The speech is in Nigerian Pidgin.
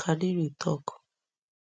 kadiri tok